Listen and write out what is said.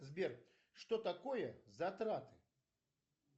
сбер что такое затраты